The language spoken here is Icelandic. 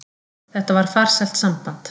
Þetta var farsælt samband.